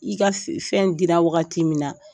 I ka f fɛn dira wagati min na.